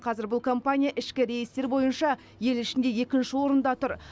қазір бұл компания ішкі рейстер бойынша ел ішінде екінші орында тұр